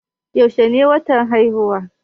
Yaushe ne watan haihuwarka?